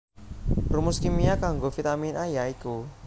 Rumus kimia kanggo Vitamin A ya iku